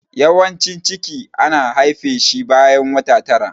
Yawancin ciki ana haife shi bayan wata tara.